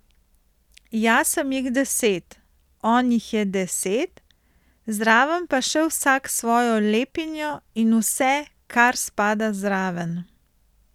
Jaz sem jih deset, on jih je deset, zraven pa še vsak svojo lepinjo in vse, kar spada zraven.